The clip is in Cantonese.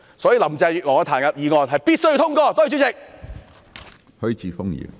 所以，林鄭月娥的彈劾議案是必須通過的，多謝主席。